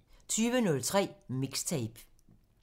20:03: MIXTAPE